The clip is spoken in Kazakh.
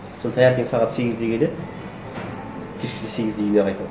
сосын таңертең сағат сегізде келеді кешкі сегізде үйіне қайтады